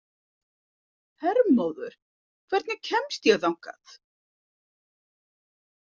Hermóður, hvernig kemst ég þangað?